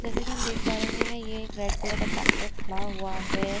जैसे कि हम देख पा रहे हैं ये एक रेड कलर का ट्रैक्टर खड़ा हुआ है।